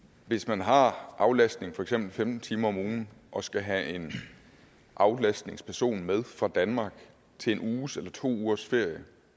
hvis man har aflastning i for eksempel femten timer om ugen og skal have en aflastningsperson med fra danmark til en uges eller to ugers ferie jo